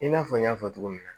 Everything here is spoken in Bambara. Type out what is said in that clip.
I n'a fɔ n y'a fɔ cogo min na